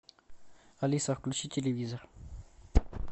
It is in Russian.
алиса включи телевизор